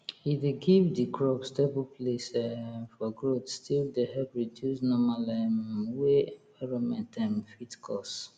e dey give di crops stable place um for growth still dey help reduce normal um wey environment um fit cause